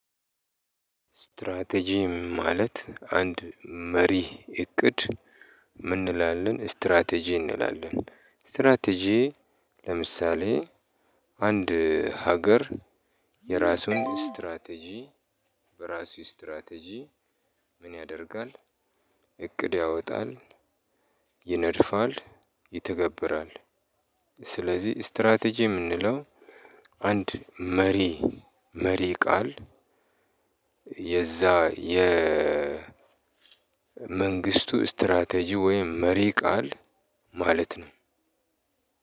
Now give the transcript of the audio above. ስትራቴጂ ማለት አንድ መሪ እቅድ? ምን እንላለን ስትራቴጂ እንላለን። ስትራቴጂ ለምሳሌ አንድ ሀገር የራሱን ስትራቴጂ በራሱ ስትራቴጂ ምን ያደርጋል? እቅድ ያወጣል ይነድፋል ይተገብራል። ስለዚህ ስትራቴጂ የምንለው አንድ መሪ መሪ ቃል። የመንግስቱ ስትራቴጂ ወይም መሪ ቃል ማለት ነው።